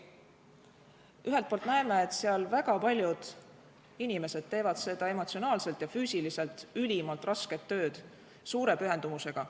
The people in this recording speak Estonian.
Ühelt poolt näeme, et väga paljud teevad seda emotsionaalselt ja füüsiliselt ülimalt rasket tööd suure pühendumusega.